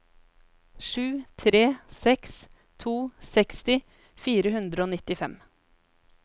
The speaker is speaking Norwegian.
sju tre seks to seksti fire hundre og nittifem